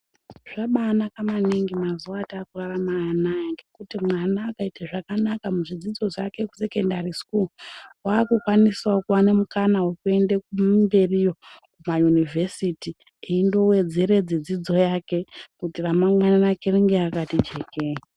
Zvabanaka maningi mazuwa atakurarama anaya ngekuti mwana akaite zvakanaka muzvidzidzo zvake kusekondari sikuu wakukwanisawo kuwane mukana wekuende mberiyo Kuma univhesiti eindowedzeredze dzidzo yake kuti ramangwana rake ringe rakati jekei.